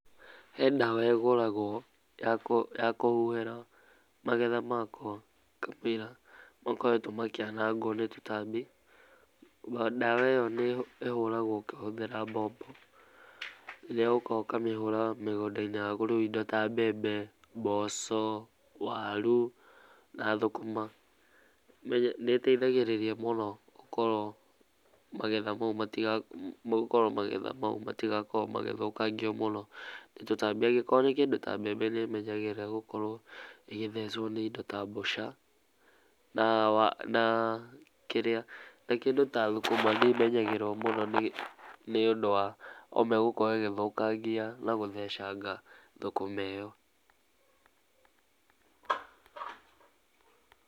Hee ndawa ĩgũragwo ya kũhuhĩra magetha makwa kamũira makoretwo makĩanangwo nĩ tũtambi, ndawa ĩyo ĩhũragwo ũkĩhũthĩra mbombo ĩrĩa ũkaga ũkahũra mũgũndainĩ waku rĩu indo ta mbembe, mboco, waru na thũkũma. Nĩĩteithagĩrĩria mũno gũkorwo magetha mau matigakorwo magĩthũkangio mũno nĩ tũtambi, angĩkorwo nĩ kĩndũ ta mbembe nĩimenyagĩrĩrwo gũkorwo ĩgĩthecwo nĩ indo ta mbũca, na kĩndũ ta thũkũma nĩĩmenyagĩrĩrwo nĩũndũ wa ũme gũkorwo ĩgĩthũkangia na gũthecanga thũkũma ĩyo.